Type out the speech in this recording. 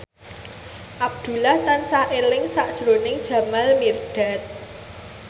Abdullah tansah eling sakjroning Jamal Mirdad